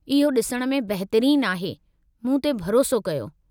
इहो ॾिसण में बहितरीनु आहे, मूं ते भरोसो कयो।